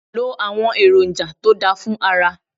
Lo àwọn èròǹjà to dá fún ara.